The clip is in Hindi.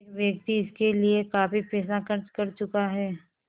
एक व्यक्ति इसके लिए काफ़ी पैसा खर्च कर चुका है